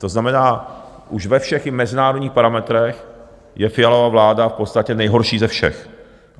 To znamená, už ve všech i mezinárodních parametrech je Fialova vláda v podstatě nejhorší ze všech.